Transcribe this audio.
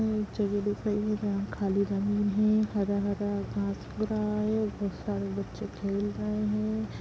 यहां एक जगह दिख रही है जहां खाली जमीन है हरा-हरा घास पूरा है बहुत सारे बच्चे खेल रहे है।